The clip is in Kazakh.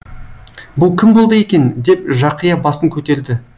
бұл кім болды екен деп жақия басын көтерді